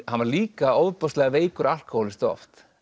hann var líka ofboðslega veikur alkóhólisti oft